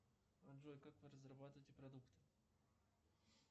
джой как вы разрабатываете продукт